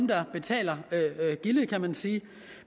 der betaler gildet kan man sige